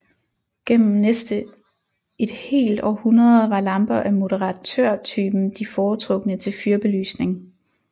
Gennem næste et helt århundrede var lamper af moderatørtypen de foretrukne til fyrbelysning